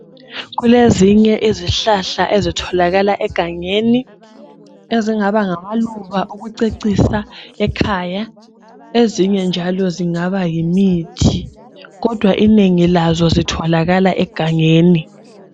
Kulezinye izihlahla ezitholakala egangeni ezingaba ngamaluba okucecisa ekhaya. Ezinye njalo zingaba yimithi kodwa inengi lazo zitholakala egangeni